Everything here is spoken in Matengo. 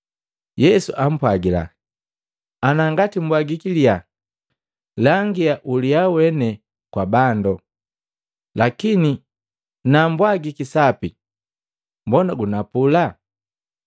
Yesu ampwagila, “Ana ngati mbwagiki liyaa, langia uliya wene kwa bando, lakini na mbwagiki sapi, mbona gunapula?”